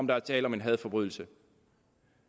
være tale om en hadforbrydelse